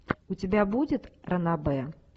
у тебя будет ранобэ